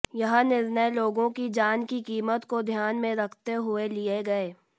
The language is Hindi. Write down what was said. यह निर्णय लोगों की जान की कीमत को ध्यान में रखते हुये लिए गए